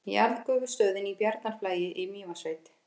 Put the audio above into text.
Jarðgufustöðin í Bjarnarflagi í Mývatnssveit.